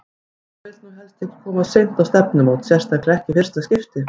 Maður vill nú helst ekki koma of seint á stefnumót, sérstaklega ekki í fyrsta skipti!